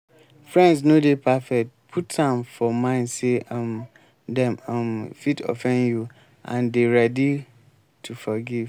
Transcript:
friends no dey perfect put am for mind sey um dem um fit offend you and dey ready to forgive